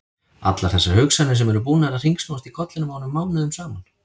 Allar þessar hugsanir sem eru búnar að hringsnúast í kollinum á honum mánuðum saman!